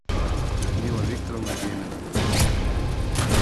людмила викторовна демина